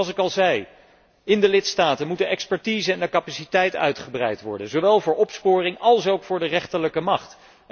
Zoals ik al zei, in de lidstaten moeten de expertise en de capaciteit uitgebreid worden, zowel voor opsporing als ook voor de rechterlijke macht.